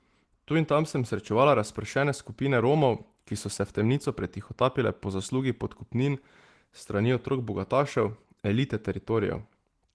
Tu in tam sem srečevala razpršene skupine Romov, ki so se v temnico pretihotapile po zaslugi podkupnin s strani otrok bogatašev, elite teritorijev.